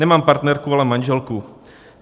Nemám partnerku, ale manželku.